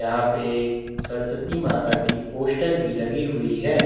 यहाँ पे सरस्वती माता की पोस्टर भी लगी हुई है।